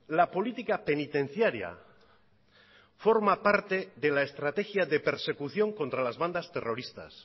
la política penitenciaria forma parte de la estrategia de persecución contra las bandas terroristas